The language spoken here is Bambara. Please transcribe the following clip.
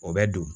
O bɛ don